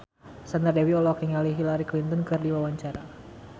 Sandra Dewi olohok ningali Hillary Clinton keur diwawancara